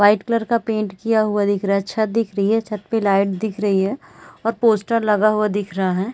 White colour का paint किया हुआ दिख रहा है छत दिख रही है छत पे लाइट दिख रही है और पोस्टर लगा हुआ दिख रहा है।